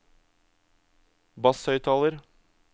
basshøyttaler